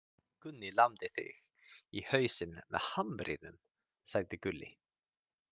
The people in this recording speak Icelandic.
Gunni lamdi þig í hausinn með hamrinum, sagði Gulli.